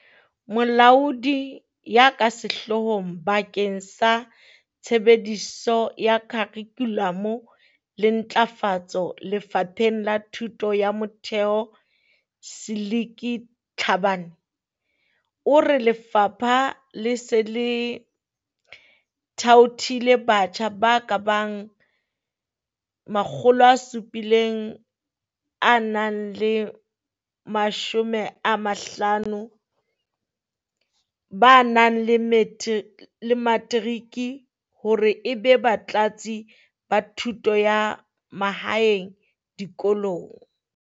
Molaodi ya ka Sehloohong bakeng sa Tshebediso ya Kharikhulamo le Ntlafa tso Lefapheng la Thuto ya Motheo Seliki Tlhabane, o re lefapha le se le thaothile batjha ba ka bang makgolo a supileng a nang le mashome a mahlano ba nang le matric hore ebe Batlatsi ba Thuto ya Mahaeng dikolong.